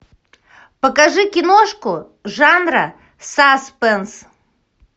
покажи киношку жанра саспенс